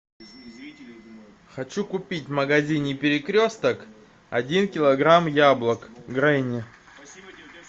хочу купить в магазине перекресток один килограмм яблок гренни